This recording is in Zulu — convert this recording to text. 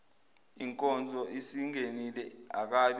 inkonzo isingenile akabe